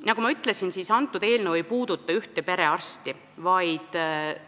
Nagu ma ütlesin, eelnõu ei puuduta ühte perearsti, vaid